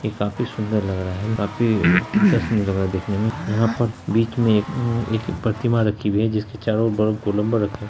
ये काफी सुंदर लग रहा है काफी इंट्रेस्टिंग लग रहा है देखने में यहां पर बीच में एक उम्म एक प्रतिमा रखी हुई है जिसकी चारों ओर बड़ा गोलंबर रखे --